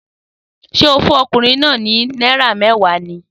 Sẹ́ o fun okùnrin náà ni náírà mewa ni?